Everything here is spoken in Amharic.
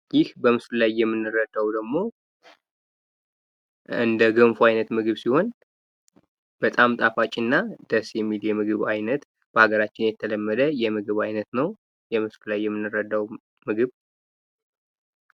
ይህ በምስሉ ላይ የምናየው ደግሞ እንደገንፎ አይነት ምግብ ሲሆን በጣም ጣፋጭና ደስ የሚል የምግብ አይነት በሀገርራችን የተለመደ የምድብ አይነት ነው። በምስሉ ላይ የምንረዳው ምግብ።